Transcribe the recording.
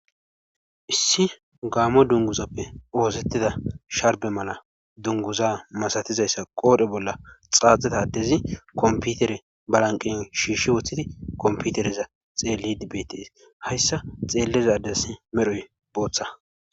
issi gaamo dunguzappe oosettida sharbe mala dunguza masatizayssa qoodhe bolla xaaxetadezi komputere balanqen shiishshi wooththidi komputereza xeelli dibbetes hayssa xeellezades medhoy booththa